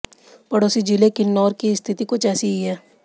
पड़ोसी जिले किन्नौर की स्थिति कुछ ऐसी ही है